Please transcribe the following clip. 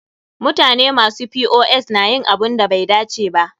Mutane masu POS na yin abunda bai dace ba.